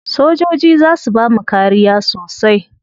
Sojoji za su bamu kariya sosai.